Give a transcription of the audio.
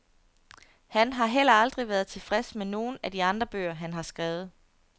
Han har heller aldrig været tilfreds med nogen af de andre bøger, han har skrevet.